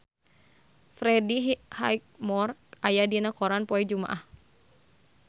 Freddie Highmore aya dina koran poe Jumaah